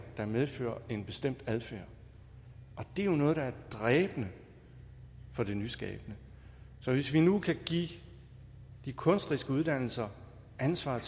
der medfører en bestemt adfærd det er noget der er dræbende for det nyskabende så hvis vi nu kan give de kunstneriske uddannelser ansvaret